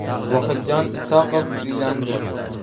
Vohidjon Isoqov uylandi.